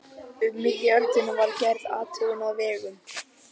Um miðja öldina var gerð athugun á vegum